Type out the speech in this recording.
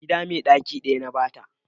gida mai daki daya na ba ta